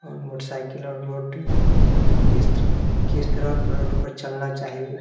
हैमोटरसाइकिल और रोड किस तरह रोड पर चलना चाहिए ।